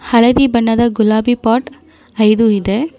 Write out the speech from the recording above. ಹಳದಿ ಬಣ್ಣದ ಗುಲಾಬಿ ಪಾಟ್ ಐದು ಇದೆ.